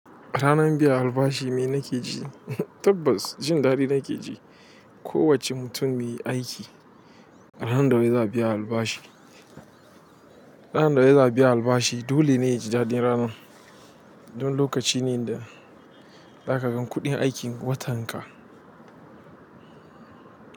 A ranan biyan albashi me na ke ji? Tabbas jin daɗi nake ji. Ko wace mutum me aiki, a ranan da wai za biya albashi, ranan da wai za biya albashi dole ne ya ji daɗi. Ranan, don lokaci ne da za ka gan kuɗin aikin watan ka.